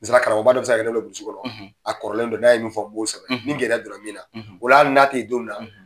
Misaliya karamɔgɔba dɔ bɛ se ka kɛ kɔnɔ a kɔrɔlen do n'a ye min fɔ m'o sɛbɛn ni gɛlɛya don na min na o la hali n'a tɛ ye don min na.